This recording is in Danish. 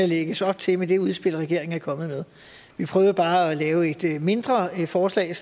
lægges op til med det udspil regeringen er kommet med vi prøvede bare at lave et mindre forslag